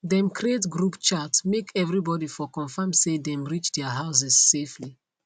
dem creat group chat make everyone for confirm say them reach their houses safely